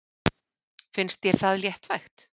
Finnst þér það léttvægt?